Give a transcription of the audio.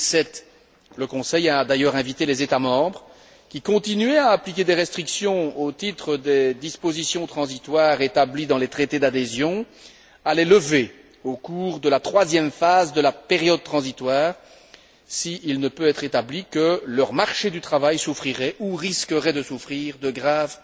2007. Le Conseil a d'ailleurs invité les États membres qui continuaient à appliquer des restrictions au titre des dispositions transitoires établies dans les traités d'adhésion à les lever au cours de la troisième phase de la période transitoire s'il ne peut être établi que leur marché du travail souffrirait ou risquerait de souffrir de graves